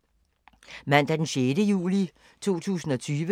Mandag d. 6. juli 2020